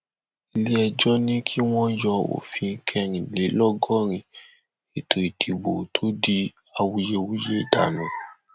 iléẹjọ ní kí wọn yọ òfin kẹrìnlélọgọrin ètò ìdìbò tó di awuyewuye dànù